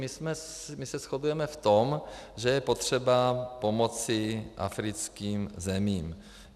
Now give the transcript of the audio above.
My se shodujeme v tom, že je potřeba pomoci africkým zemím.